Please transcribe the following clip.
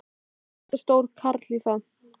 Ég er allt of stór karl í það.